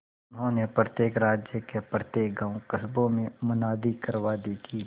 उन्होंने प्रत्येक राज्य के प्रत्येक गांवकस्बों में मुनादी करवा दी कि